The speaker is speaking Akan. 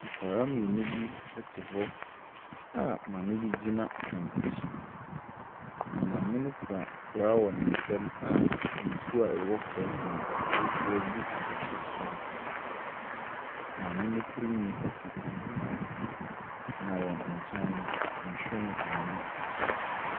Nkwadaa mmienu bi te hɔ a maame bi gyina wɔn akyi, na maame no kura koraa wɔ ne nsa a nsuo a ɛwɔ koraa no mu no, ɔrehwie agu abɔfra baako so. Maame no tirinwi afu kuhaa, na wɔn nkyɛn no, nhwiren mmenu si hɔ.